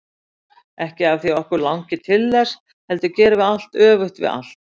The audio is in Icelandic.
Ekki af því að okkur langi til þess, heldur gerum við allt öfugt við allt.